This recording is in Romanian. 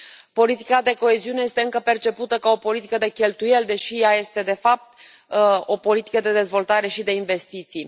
Politica de coeziune este încă percepută ca o politică de cheltuieli, deși ea este, de fapt, o politică de dezvoltare și de investiții.